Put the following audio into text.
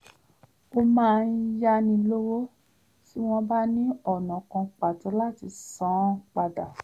ó máa ń yáni lówó tí wọ́n bá ní ọ̀nà kan pàtó láti san án padà